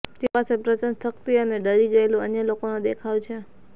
તેઓ પાસે પ્રચંડ શક્તિ અને ડરી ગયેલું અન્ય લોકોનો દેખાવ છે